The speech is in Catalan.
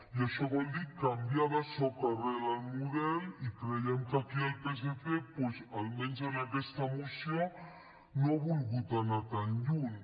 i això vol dir canviar de soca rel el model i creiem que aquí el psc doncs almenys en aquesta moció no ha volgut anar tan lluny